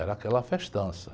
Era aquela festança.